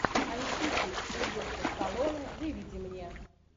антихрист сильвестра сталлоне выведи мне